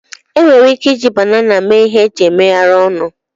Enwere ike iji banana mee ihe eji megharịa ọnụ